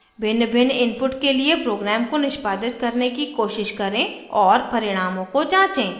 भिन्नभिन्न inputs के लिए program को निष्पादित करने की कोशिश करें और परिणामों को जाँचें